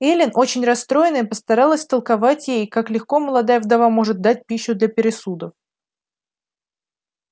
эллин очень расстроенная постаралась втолковать ей как легко молодая вдова может дать пищу для пересудов